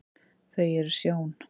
þau eru sjón